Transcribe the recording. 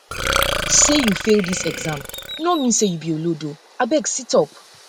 sey you um fail dis exam no mean sey you be olodo um be olodo um abeg situp um